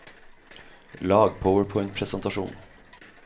lag PowerPoint-presentasjon